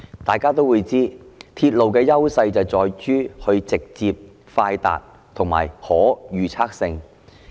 大家都知道，鐵路的優勢在於直接、快達及具可預測性。